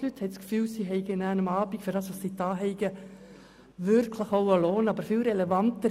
Damit haben die Teilnehmenden der Projekte das Gefühl, am Abend wirklich auch einen Lohn zu erhalten für das, was sie geleistet haben.